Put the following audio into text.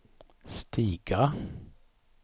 stiga